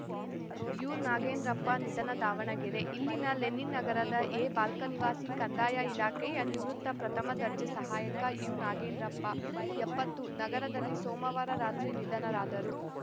ಯುನಾಗೇಂದ್ರಪ್ಪ ನಿಧನ ದಾವಣಗೆರೆ ಇಲ್ಲಿನ ಲೆನಿನ್‌ ನಗರದ ಎ ಬಾಲಕ ನಿವಾಸಿ ಕಂದಾಯ ಇಲಾಖೆಯ ನಿವೃತ್ತ ಪ್ರಥಮ ದರ್ಜೆ ಸಹಾಯಕ ಯುನಾಗೇಂದ್ರಪ್ಪ ಎಪ್ಪತ್ತು ನಗರದಲ್ಲಿ ಸೋಮವಾರ ರಾತ್ರಿ ನಿಧನರಾದರು